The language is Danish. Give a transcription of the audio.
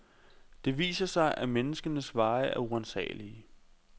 Det viser sig, at menneskenes veje er uransagelige.